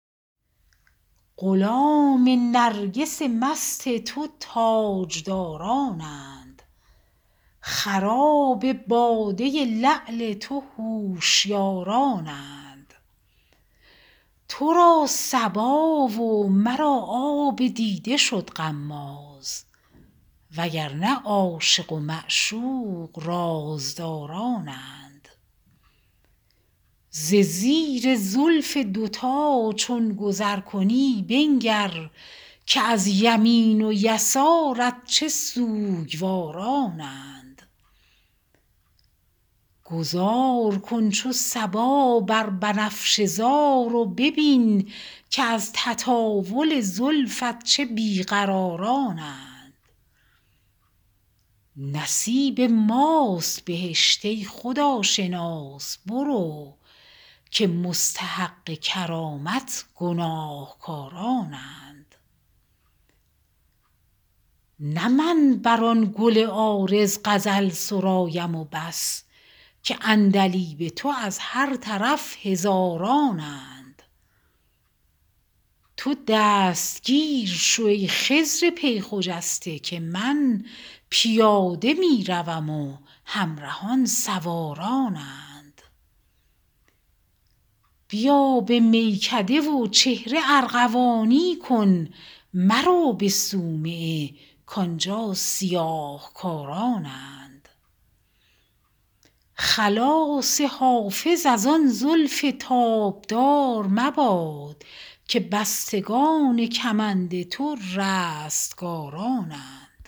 غلام نرگس مست تو تاجدارانند خراب باده لعل تو هوشیارانند تو را صبا و مرا آب دیده شد غماز و گر نه عاشق و معشوق رازدارانند ز زیر زلف دوتا چون گذر کنی بنگر که از یمین و یسارت چه سوگوارانند گذار کن چو صبا بر بنفشه زار و ببین که از تطاول زلفت چه بی قرارانند نصیب ماست بهشت ای خداشناس برو که مستحق کرامت گناهکارانند نه من بر آن گل عارض غزل سرایم و بس که عندلیب تو از هر طرف هزارانند تو دستگیر شو ای خضر پی خجسته که من پیاده می روم و همرهان سوارانند بیا به میکده و چهره ارغوانی کن مرو به صومعه کآنجا سیاه کارانند خلاص حافظ از آن زلف تابدار مباد که بستگان کمند تو رستگارانند